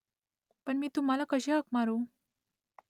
पण मी तुम्हाला कशी हाक मारू ?